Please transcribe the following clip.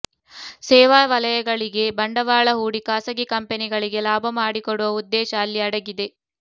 ಸೇವಾ ವಲಯಗಳಿಗೆ ಬಂಡವಾಳ ಹೂಡಿ ಖಾಸಗಿ ಕಂಪನಿಗಳಿಗೆ ಲಾಭ ಮಾಡಿಕೊಡುವ ಉದ್ದೇಶ ಇಲ್ಲಿ ಅಡಗಿದೆ